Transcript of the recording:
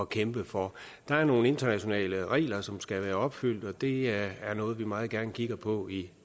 kæmpe for der er nogle internationale regler som skal være opfyldt og det er noget vi meget gerne kigger på i